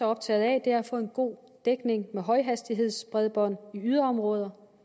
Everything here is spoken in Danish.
optagede af er at få en god dækning med højhastighedsbredbånd i yderområder